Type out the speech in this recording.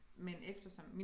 Men eftersom